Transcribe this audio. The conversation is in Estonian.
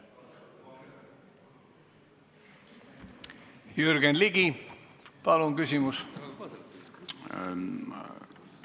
Jürgen Ligi, palun küsimus!